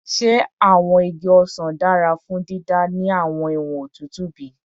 Ṣe awọn igi osan dara fun dida ni awọn iwọn otutu otutu bi?